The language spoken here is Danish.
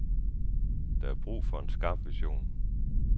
Der er brug for en skarp vision.